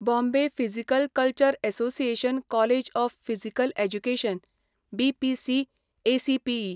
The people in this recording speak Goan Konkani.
Bombay physical culture association college of physical education BPCACPE.